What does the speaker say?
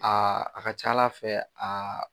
Aa a ka ca Aa fɛ aa